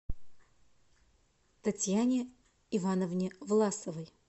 татьяне ивановне власовой